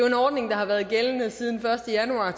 en ordning der har været gældende siden første januar